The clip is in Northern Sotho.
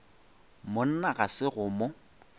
monna ga se go mo